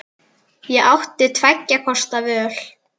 Ég átti tveggja kosta völ.